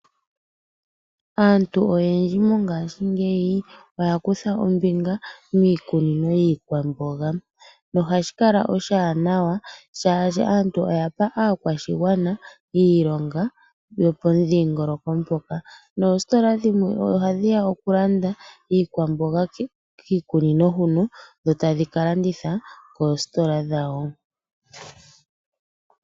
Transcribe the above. Aantu oyendji mongaashingeyi oya kutha oombinga miikunino yiikwamboga. Nohashi kala oshiwanawa shaashi aantu oyapa aakwashigwana iilonga yomomudhiingoloko moka. Noositola dhimwe ohadhi ya okulanda kiikunino yiikwamboga huka, etadhi ka landitha koositola dhawo.